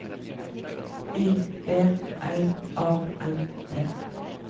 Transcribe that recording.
I B L A N T